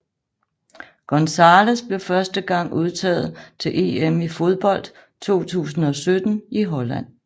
González blev første gang udtaget til EM i fodbold 2017 i Holland